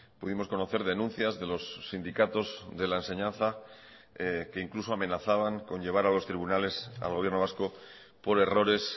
pudimos conocer denuncias de los sindicatos de la enseñanza que incluso amenazaban con llevar a los tribunales al gobierno vasco por errores